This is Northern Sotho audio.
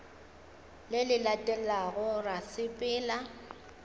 le le latelago ra sepela